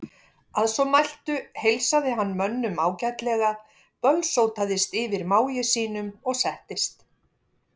Að svo mæltu heilsaði hann mönnum ágætlega, bölsótaðist yfir mági sínum og settist.